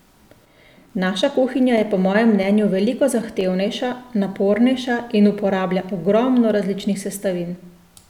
Naša kuhinja je po mojem mnenju veliko zahtevnejša, napornejša in uporablja ogromno različnih sestavin.